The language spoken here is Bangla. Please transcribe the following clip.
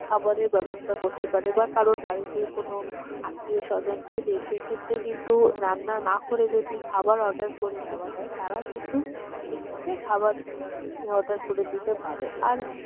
খাবারের ব্যবস্থা করতে পারে বা কারোর বাড়িতে কোন আত্মীয়-স্বজন এলে সেক্ষেত্রে কিন্তু রান্না না করে যদি খাবার order করে দেওয়া হয় তারা কিন্তু সেক্ষেত্রে খাবার order করে দিতে পারে। আর